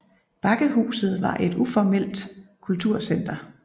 Bakkehuset var var et uformelt kulturcenter